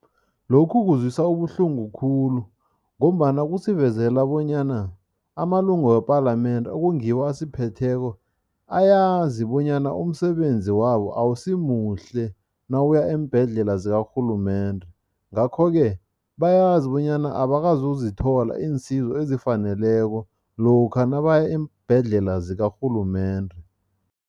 Lokhu kuzwisa ubuhlungu khulu ngombana kusivezela bonyana amalungu wepalamende, okungiwo asiphetheko, ayazi bonyana umsebenzi wabo awusimuhle nawuya eembhedlela zikarhulumende, ngakho-ke bayazi bonyana abakazozithola iinsizo ezifaneleko lokha nabaya eembhedlela zikarhulumende.